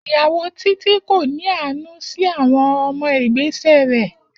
Iyawo Titi ko ni aanu si awọn ọmọ igbesẹ rẹ.